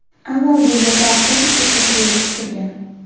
Avval bu yerda avtobus bekati belgisi turgan.